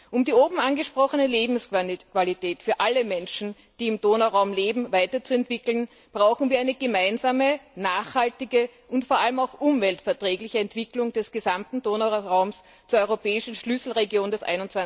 Um die oben angesprochene Lebensqualität für alle Menschen, die im Donauraum leben, weiterzuentwickeln, brauchen wir eine gemeinsame, nachhaltige und vor allem auch umweltverträgliche Entwicklung des gesamten Donauraums zur europäischen Schlüsselregion des